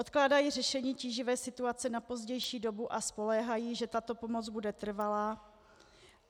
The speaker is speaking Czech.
Odkládají řešení tíživé situace na pozdější dobu a spoléhají, že tato pomoc bude trvalá.